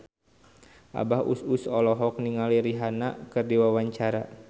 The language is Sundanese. Abah Us Us olohok ningali Rihanna keur diwawancara